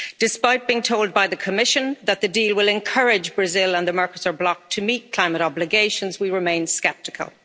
Despite being told by the Commission that the deal will encourage Brazil and the Mercosur bloc to meet climate obligations, we remain sceptical.